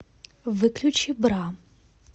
выключи бра